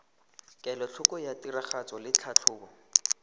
kelotlhoko ya tiragatso le tlhatlhobo